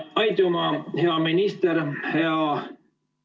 Aitüma, hea minister!